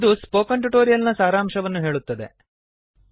ಇದು spoken tutorial ನ ಸಾರಾಂಶವನ್ನು ಹೇಳುತ್ತದೆ